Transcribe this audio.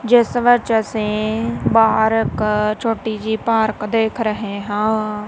ਜਿਸ ਵਿੱਚ ਅਸੀਂ ਪਾਰਕ ਛੋਟੀ ਜਿਹੀ ਪਾਰਕ ਦੇਖ ਰਹੇ ਹਾਂ।